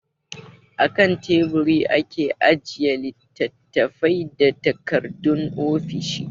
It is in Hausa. A kan Teburi ake ajiye littattafai da takardun ofishi.